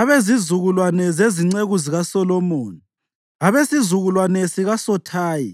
Abezizukulwane zezinceku zikaSolomoni: Abesizukulwane sikaSothayi,